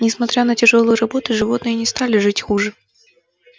несмотря на тяжёлую работу животные не стали жить хуже